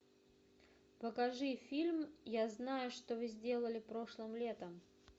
покажи фильм я знаю что вы сделали прошлым летом